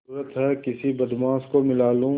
जरुरत हैं किसी बदमाश को मिला लूँ